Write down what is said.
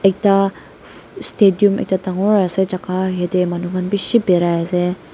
ta stadium ekta dangor ase jaka haytey manu khan bishi birai ase.